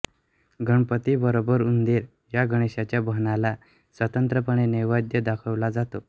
गणपतीबरोबर उंदीर या गणेशाच्या बाहनाला स्वतंत्रपणे नैवेद्य दाखविला जातो